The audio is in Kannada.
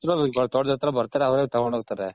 ತೋಟದತ್ರ ಬರ್ತಾರೆ ಅವ್ರೆ ತಗೊಂಡ್ ಹೋಗ್ತಾರೆ.